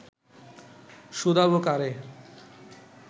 শুধাবো কারে